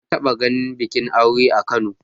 Na taɓa ganin bikin aure a Kano.